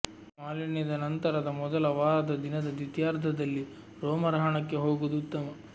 ಮಾಲಿನ್ಯದ ನಂತರದ ಮೊದಲ ವಾರದ ದಿನದ ದ್ವಿತೀಯಾರ್ಧದಲ್ಲಿ ರೋಮರಹಣಕ್ಕೆ ಹೋಗುವುದು ಉತ್ತಮ